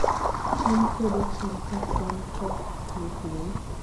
cham kwedo cham kaa kwan pests ni piny